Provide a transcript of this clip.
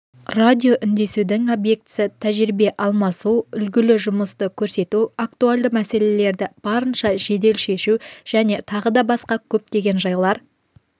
радиоүндесудің объектісі тәжірибе алмасу үлгілі жұмысты көрсету актуальды мәселелерді барынша жедел шешу және тағы да басқа көптеген жайлар